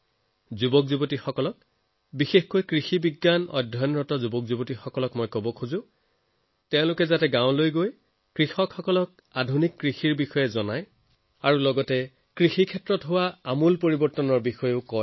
মোৰ নজোৱানসকল বিশেষকৈ কৃষিৰ অধ্যয়ন কৰি থকা লাখ লাখ বিদ্যাৰ্থীৰ প্ৰতি আহ্বান যে তেওঁলোকে নিজৰ ওচৰপাজৰৰ গাঁওবিলাকলৈ গৈ কৃষকসকলক আধুনিক কৃষিৰ বিষয়ে শেহতীয়াকৈ হোৱা কৃষি সংস্কাৰসমূহৰ বিষয়ে সজাগ কৰক